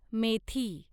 मेथी